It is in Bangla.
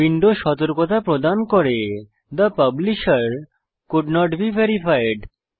উইন্ডো সতর্কতা প্রদান করে the publisher could not be verified